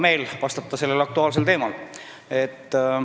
Hea meel on vastata sellel aktuaalsel teemal.